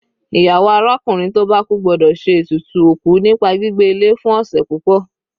Ìyàwó arákùnrin tó bá kú gbọ́dọ̀ ṣe ètùtù òkú nípa gbígbé ilé fún ọ̀sẹ̀ púpọ̀.